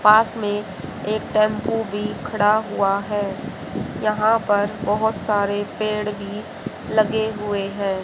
पास में एक टेम्पु भीं खड़ा हुवा हैं यहाँ पर बहोत सारे पेड़ भीं लगे हुए हैं।